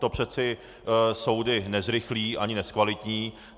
To přece soudy nezrychlí ani nezkvalitní.